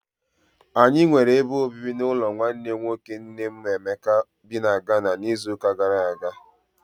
Anyị nwere ebe obibi n'ụlọ nwanne nwoke nne m Emeka bị na Ghana n'izuụka gara aga.